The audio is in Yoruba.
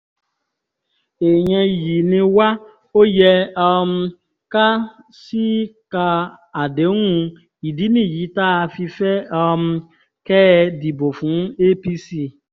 èèyàn iyì ni wá ó yẹ um ká ṣíìka àdéhùn ìdí nìyí tá a fi fẹ́ um kẹ́ ẹ dìbò fún apc